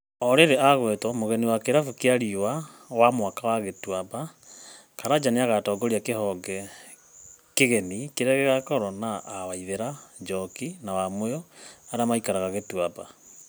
O rĩrĩ agwetwo mũgeni wa kĩrabũ kĩa Riũa wa mwaka Gĩtuamba, Karanja nĩagatongoria kĩhonge kĩgeni kĩrĩa gĩgakorwo na a Waithĩra, Njoki na Wamũyũ arĩa maikaraga Gituamba.